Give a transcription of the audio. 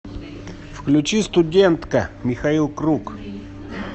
включи студентка михаил круг